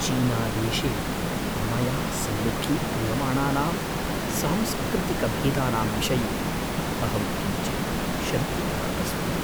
चीनादेशे मया सम्मुखीक्रियमाणानां सांस्कृतिकभेदानां विषये अहं किञ्चित् शङ्कितः अस्मि।